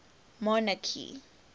monarchy